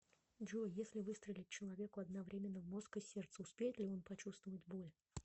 джой если выстрелить человеку одновременно в мозг и сердце успеет ли он почувствовать боль